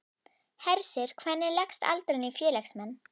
Hersir, hvernig leggst aldurinn í félagsmenn?